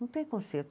Não tem conserto.